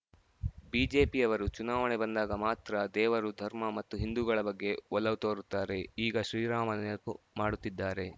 ಬಿಜೆಪಿಯವರು ಚುನಾವಣೆ ಬಂದಾಗ ಮಾತ್ರ ದೇವರು ಧರ್ಮ ಮತ್ತು ಹಿಂದೂಗಳ ಬಗ್ಗೆ ಒಲವು ತೊರುತ್ತಾರೆ ಈಗ ಶ್ರೀರಾಮನ ನೆನಪು ಮಾಡುತ್ತಿದ್ದಾರೆ